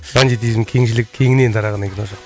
бандитизм кеңшілік кеңінен тараған екен ол жақта